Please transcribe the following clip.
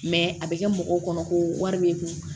a bɛ kɛ mɔgɔw kɔnɔ ko wari bɛ kun